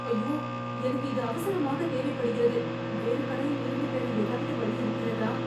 ஐயோ, எனக்கு இது அவசரமாகத் தேவைப்படுகிறது. வேறு கடையில் இருந்து பெற ஏதாவது வழி இருக்கிறதா?